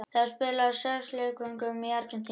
Þá var spilað á sex leikvöngum í Argentínu.